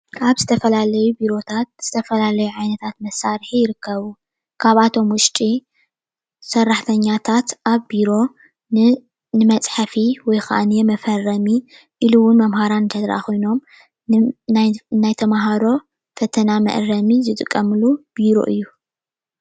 ኣብ ዝተፈላለዩ ቢሮታት ዝተፈላለዩ ዓይነታት መሳርሒ ይርከቡ ካብኣቶም ውሽጢ ሰራሕተኛታት ኣብ ቢሮ ንመፅሐፊ ወይ ከዓ ንመፈረሚ ከምኡ እውን መምህራን እንተዳአ ኾይኖም ናይ ተምሃሮ ፈተና ነመአረሚ ዝጥቀምሉ ቢሮ እዩ። ።